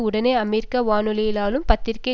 உடனேயே அமெரிக்க வானொலியினாலும் பத்திரிகை